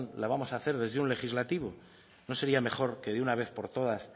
lo vamos hacer desde un legislativo no sería mejor que de una vez por todas